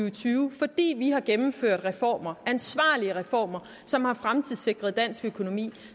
og tyve fordi vi har gennemført reformer ansvarlige reformer som har fremtidssikret dansk økonomi og